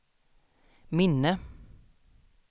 minne